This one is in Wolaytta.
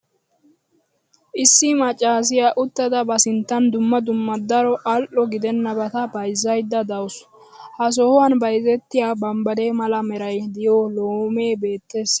issi maccaassiya uttada ba sinttan dumma dumma daro al'o gidennabata bayzzaydda dawusu. ha sohuwan bayzzettiya bambbaree mala meray diyo loomee beettees.